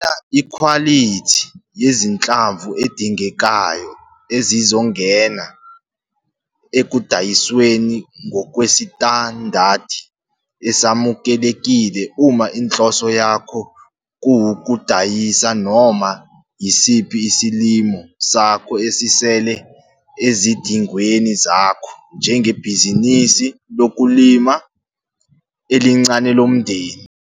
Jwayela ikhwalithi yezinhlamvu edingekayo ezizongena ekudayisweni ngokwesitandadi esamukelekile uma inhloso yakho kuwukudayisa noma yisiphi isilimo sakho esisele ezidingweni zakho njengebhizinisi lokulima elincane lomndeni.